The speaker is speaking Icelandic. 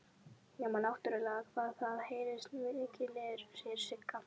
Nema náttúrlega hvað það heyrist mikið niður, segir Sigga.